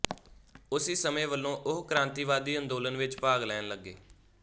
ਉਸੀ ਸਮੇਂ ਵਲੋਂ ਉਹ ਕ੍ਰਾਂਤੀਵਾਦੀ ਅੰਦੋਲਨ ਵਿੱਚ ਭਾਗ ਲੈਣ ਲੱਗੇ